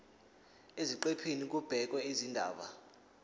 eziqephini kubhekwe izindaba